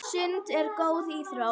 Sund er góð íþrótt.